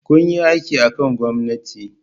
kuyi aiki akan gomnatin